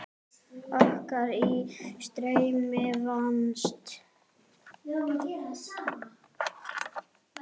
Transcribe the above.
Orka í streymi vatns.